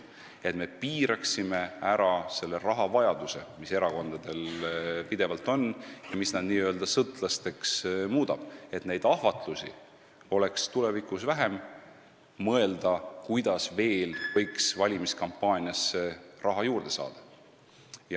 Me peame piirama ära selle rahavajaduse, mis erakondadel pidevalt on ja mis nad n-ö sõltlasteks muudab, et tulevikus oleks vähem ahvatlusi mõelda, kuidas veel võiks valimiskampaaniasse raha juurde saada.